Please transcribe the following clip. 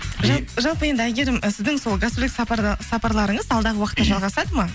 жалпы енді әйгерім і сіздің сол гастрольдік сапарларыңыз алдағы уақыттта жалғасады ма